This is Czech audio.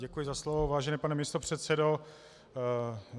Děkuji za slovo, vážený pane místopředsedo.